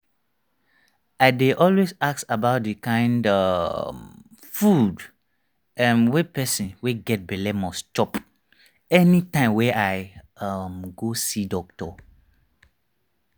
i dey always ask about the kind um food[um]wey person wey get belle must chop anytime wey i um go see doctor